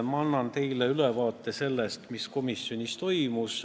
Ma annan teile ülevaate sellest, mis komisjonis toimus.